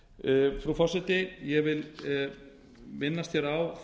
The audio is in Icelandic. kvikmyndagerðar frú forseti ég vil minnast hér á